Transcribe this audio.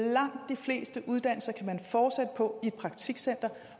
langt de fleste uddannelser kan man fortsætte på i et praktikcenter